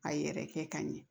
A yɛrɛ kɛ ka ɲɛ